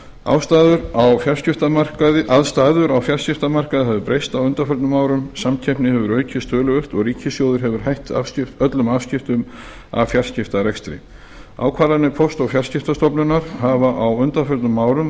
aðstæður á fjarskiptamarkaði hafa breyst á undanförnum árum samkeppni hefur aukist töluvert og ríkissjóður hefur hætt öllum afskiptum af fjarskiptarekstri ákvarðanir póst og fjarskiptastofnunar hafa á undanförnum árum